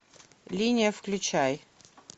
линия включай